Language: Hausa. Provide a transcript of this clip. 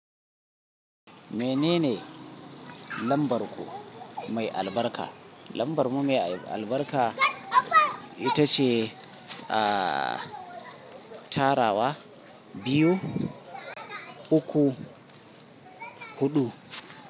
Menene lambar ku mai albarka? Lambar mu mai albarka ita ce, aa tarawa biyu, uku, huɗu.